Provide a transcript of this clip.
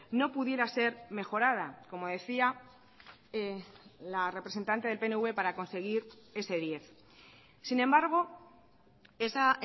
no pudiera ser mejorada como decía la representante del pnv para conseguir ese diez sin embargo esa